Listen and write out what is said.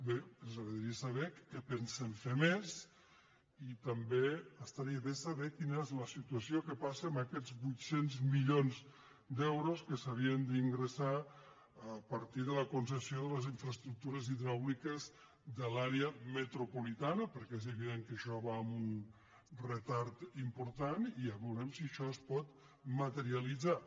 bé ens agradaria saber què pensen fer més i també estaria bé saber quina és la situació què passa amb aquests vuit cents milions d’euros que s’havien d’ingressar a partir de la concessió de les infraestruc·tures hidràuliques de l’àrea metropolitana perquè és evident que això va amb un retard important i ja veu·rem si això es pot materialitzar